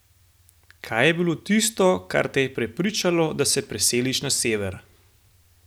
Kaj je bilo tisto, kar te je prepričalo, da se preseliš na sever?